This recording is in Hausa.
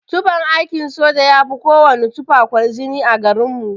Tufan aikin soja yafi kowana tufa kwarjini a garin mu.